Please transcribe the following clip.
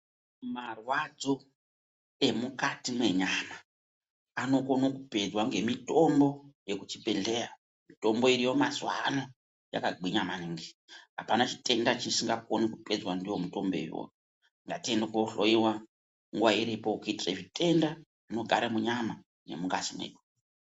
Marwadzo emukati menyama anokona kupedzwa ngemitombo yekuchibhedhleya mitombo iriyo mazuva ano yakagwinya maningi. Hapana chitenda chisinga koni kupedzwa ndivo mutombo ivovo ngatiende kohloiwa nguva iripo. Kuitira zvitenda zvinogara munyama nemungazi medu.